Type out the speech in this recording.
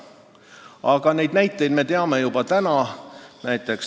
Aga näiteid selle kohta me teame juba täna.